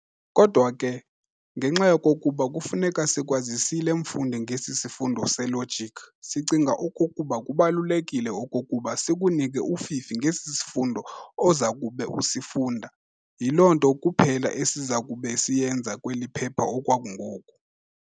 kodwa ke, ngenxa yokokuba kufuneka sikwazisile mfundi ngesi sifundo se-logic, sicinga okokuba kubalulekile okokuba sikunike ufifi ngesi sifundo ozakube usifunda. Yiloo nto kuphela esizakube siyenza kweli phepha okwangoku.